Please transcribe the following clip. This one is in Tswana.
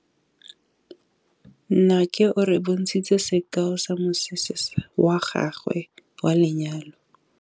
Nnake o re bontshitse sekaô sa mosese wa gagwe wa lenyalo.